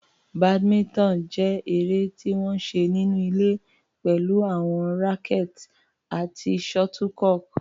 Badminton jẹ́ eré tí wọ́n ń ṣe nínú ilé pẹ̀lú àwọn rackets àti shuttlecock.